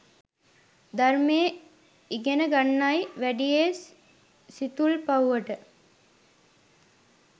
ධර්මය ඉගෙන ගන්නයි වැඩියේ සිතුල්පව්වට